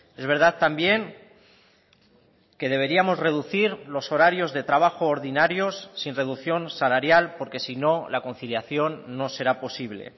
es verdad también que deberíamos reducir los horarios de trabajo ordinarios sin reducción salarial porque si no la conciliación no será posible